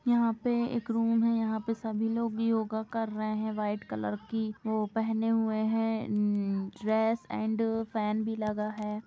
यहाँ पे एक रूम है यहाँ पे सभी लोग योगा कर रहे है व्हाइट कलर की पहने हुए है। ड्रेस एण्ड फैन भी लगा है।